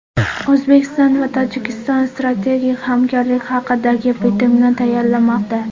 O‘zbekiston va Tojikiston strategik hamkorlik haqidagi bitimni tayyorlamoqda.